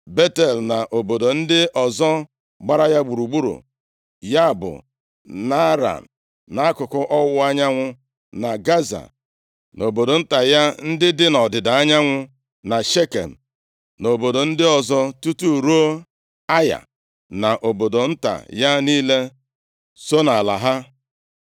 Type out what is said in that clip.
Betel na obodo ndị ọzọ gbara ya gburugburu, ya bụ Naaran, nʼakụkụ ọwụwa anyanwụ, na Gaza na obodo nta ya, ndị dị nʼọdịda anyanwụ, na Shekem, na obodo ndị ọzọ, tutu ruo Aya, na obodo nta ya niile, so nʼala ha.